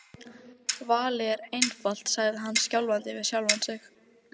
Valið er einfalt sagði hann skjálfandi við sjálfan sig.